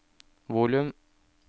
volum